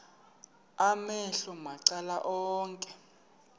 amehlo macala onke